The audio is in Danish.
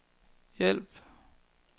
hjælp